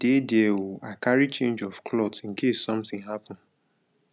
dey there oo i carry change of cloth in case something happen